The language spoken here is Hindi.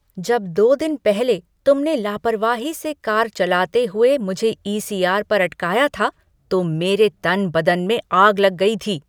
जब दो दिन पहले तुमने लापरवाही से कार चलाते हुए मुझे ईसीआर पर अटकाया था, तो मेरे तन बदन में आग लग गई थी।